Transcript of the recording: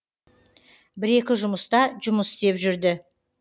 бір екі жұмыста жұмыс істеп жүрді